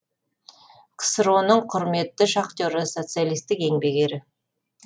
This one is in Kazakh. ксро ның құрметті шахтері социалистік еңбек ері